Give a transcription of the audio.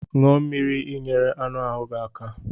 Ṅụọ mmiri ị nyere anụ ahu gị aka.